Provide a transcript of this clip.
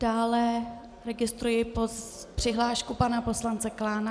Dále registruji přihlášku pana poslance Klána.